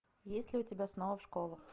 есть ли у тебя снова в школу